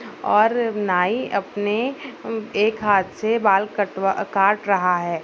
और नाई अपने अम एक हाथ से बाल कटवा काट रहा है।